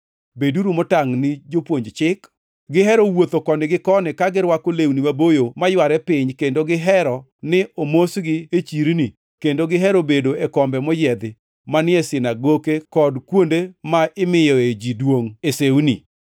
“Beduru motangʼ ni jopuonj chik. Gihero wuotho koni gi koni ka girwako lewni maboyo mayware piny kendo gihero ni omosgi e chirni kendo gihero bedo e kombe moyiedhi manie sinagoke kod kuonde ma imiyoe ji duongʼ e sewni.